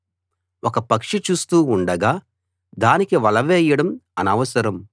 ఒక పక్షి చూస్తూ ఉండగా దానికి వల వేయడం అనవసరం